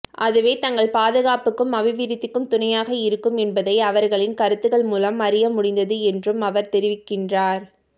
அதுவே தங்கள் பாதுகாப்புக்கும் அபிவிருத்திக்கும் துணையாக இருக்கும் என்பதை அவர்களின் கருத்துக்கள் மூலம் அறிய முடிந்தது என்றும் அவர் தெரிவிக்கின்றார்